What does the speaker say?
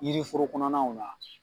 Yiriforo kɔnɔnaw na.